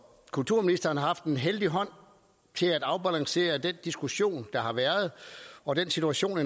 kulturministeren har haft en heldig hånd til at afbalancere den diskussion der har været og den situation